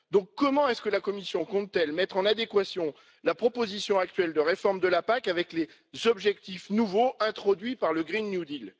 Donc comment la Commission compte t elle mettre en adéquation la proposition actuelle de réforme de la PAC avec les objectifs nouveaux introduits par le pacte vert européen?